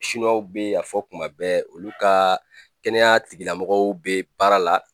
Sinuwaw bɛ a fɔ tuma bɛɛ olu ka kɛnɛya tigilamɔgɔw bɛ baara la.